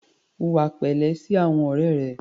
Hùwà pẹ̀lẹ́ sí àwọn ọ̀rẹ́ rẹ.